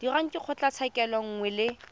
dirwang ke kgotlatshekelo nngwe le